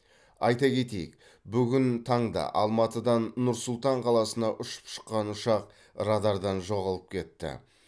айта кетейік бүгін таңда алматыдан нұр сұлтан қаласына ұшып шыққан ұшақ радардан жоғалып кетті